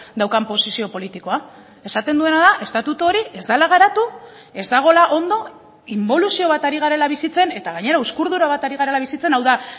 daukan posizio politikoa esaten duena da estatutu hori ez dela garatu ez dagoela ondo inboluzio bat ari garela bizitzen eta gainera uzkurdura bat ari garela bizitzen hau da